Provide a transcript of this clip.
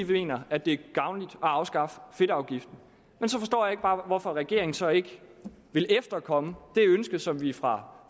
vi mener at det er gavnligt at afskaffe fedtafgiften så forstår jeg bare ikke hvorfor regeringen så ikke vil efterkomme det ønske som vi fra